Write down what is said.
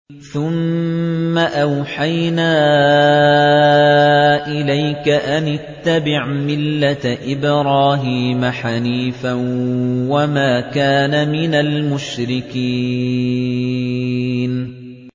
ثُمَّ أَوْحَيْنَا إِلَيْكَ أَنِ اتَّبِعْ مِلَّةَ إِبْرَاهِيمَ حَنِيفًا ۖ وَمَا كَانَ مِنَ الْمُشْرِكِينَ